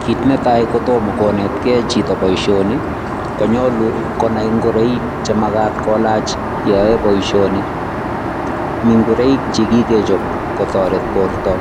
Kiit ne tai kotomo konetkei chito boisioni, konyolu konai ngoroik che makat kolach yo oe boisioni, mi ngoroik chi kikechop kotoret borta